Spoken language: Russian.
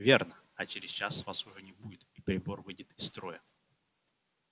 верно а через час вас уже не будет и прибор выйдет из строя